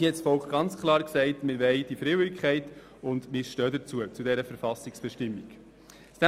Aber das Volk hat klar gesagt, dass Freiwilligkeit erwünscht sei, und zu dieser Verfassungsbestimmung stehen wir.